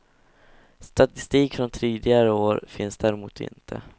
Statistik från tidigare år finns däremot inte.